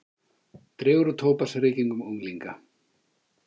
Dregur úr tóbaksreykingum unglinga